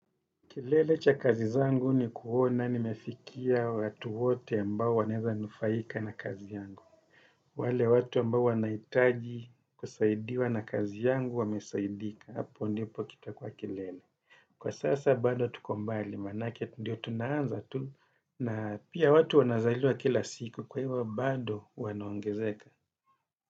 Kilele cha kazi zangu ni kuona nimefikia watu wote ambao wanaweza nufaika na kazi yangu. Wale watu ambao wanahitaji kusaidiwa na kazi yangu wamesaidika. Hapo ndipo kita kuwa kilele. Kwa sasa bado tuko mbali, maanake ndio tunaanza tu. Na pia watu wanazaliwa kila siku kwa hivyo bado wanaongezeka.